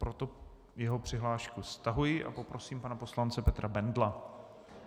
Proto jeho přihlášku stahuji a poprosím pana poslance Petra Bendla.